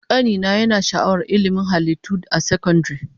Kani na yana sha'awar ilmin halittu a sakandare